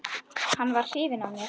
Hann var hrifinn af mér.